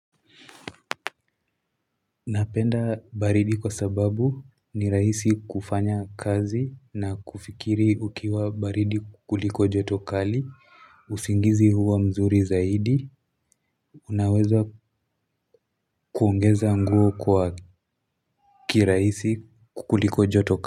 Napenda baridi kwa sababu ni rahisi kufanya kazi na kufikiri ukiwa baridi kuliko joto kali, usingizi huwa mzuri zaidi, unaweza kuongeza nguo kwa kirahisi kuliko joto kali.